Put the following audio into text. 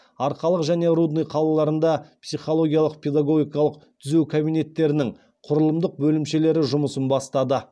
арқалық және рудный қалаларында психологиялық педагогикалық түзеу кабинеттерінің құрылымдық бөлімшелері жұмысын бастады